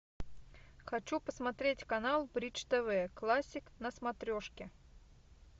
хочу посмотреть канал бридж тв классик на смотрешке